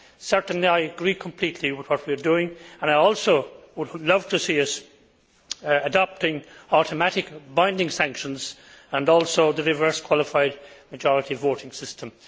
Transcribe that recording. Certainly, I agree completely with what we are doing and I also would love to see us adopting automatic, binding sanctions and also the reverse qualified majority voting system.